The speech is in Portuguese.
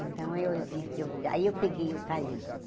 Então, eu eu vi aí eu peguei o carimbo.